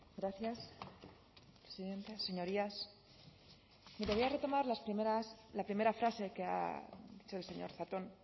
gracias presidenta señorías bien quería retomar la primera frase que ha hecho el señor zatón